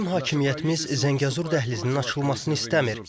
bizim hakimiyyətimiz Zəngəzur dəhlizinin açılmasını istəmir.